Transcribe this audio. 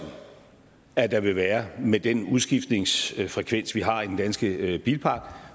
at der vil være med den udskiftningsfrekvens vi har i den danske bilpark